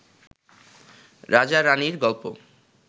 রাজা রানীর গল্প